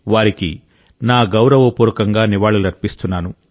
వారికి నా గౌరవపూర్వకంగా నివాళులర్పిస్తున్నాను